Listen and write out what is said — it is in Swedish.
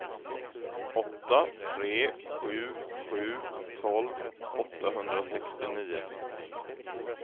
åtta tre sju sju tolv åttahundrasextionio